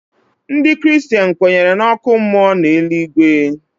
Ndị kristen kwenyere n'ọkụ mmụọ na eluigwe.